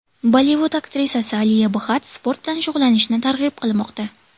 Bollivud aktrisasi Aliya Bxatt sport bilan shug‘ullanishni targ‘ib qilmoqda.